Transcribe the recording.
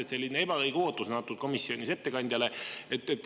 Aga selline ebaõige ootus on komisjonis ettekandjale antud.